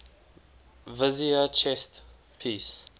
vizier chess piece